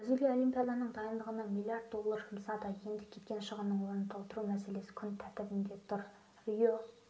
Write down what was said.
бразилия олимпиаданың дайындығына миллиард доллар жұмсады енді кеткен шығынның орнын толтыру мәселесі күн тәртібінде тұр рио